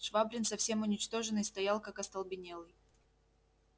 швабрин совсем уничтоженный стоял как остолбенелый